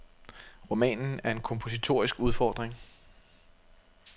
Romanen er en kompositorisk udfordring.